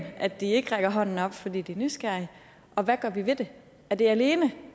at de ikke rækker hånden op fordi de er nysgerrige og hvad gør vi ved det er det alene